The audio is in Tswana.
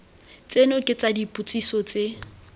tseno ke tsa dipotsiso tse